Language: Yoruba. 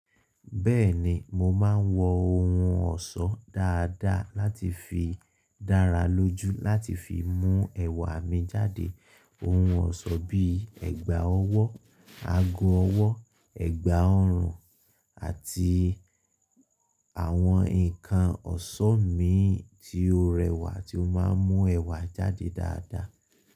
Bẹ́ẹ̀ni, mo máa ń wọ ohun ọ̀ṣọ́ dáadáa láti fi dára lójú láti fi mú ẹwà mi jáde. Ohun ọ̀ṣọ́ bíí ẹ̀gbà ọwọ́, ago ọwọ́, ẹ̀gbà ọrùn àti àwọn nǹkan ọ̀ṣọ́ mi ìn tí ó rẹwà tí ó máa ń mú ẹwà jáde dáadáa.